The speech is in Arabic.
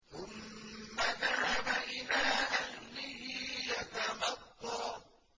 ثُمَّ ذَهَبَ إِلَىٰ أَهْلِهِ يَتَمَطَّىٰ